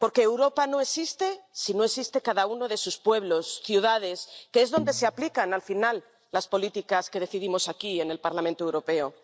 Porque Europa no existe si no existe cada uno de sus pueblos y ciudades, que es donde se aplican al final las políticas que decidimos aquí, en el Parlamento Europeo.